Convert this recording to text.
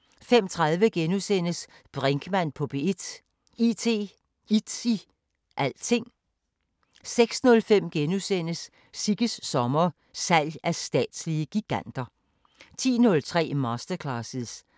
21:03: Terroristerne: Glasvejssagen * 21:30: Harddisken slukker (Afs. 2)* 00:05: Koranskolen på P1 (Afs. 5)*